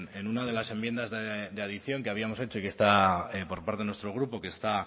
en una de las enmiendas de adición que habíamos hecho y que está por parte de nuestro grupo que está